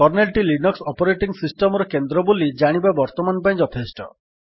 kernel ଟି Linux operating system ର କେନ୍ଦ୍ର ବୋଲି ଜାଣିବା ବର୍ତ୍ତମାନ ପାଇଁ ଯଥେଷ୍ଟ